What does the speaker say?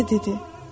O isə dedi: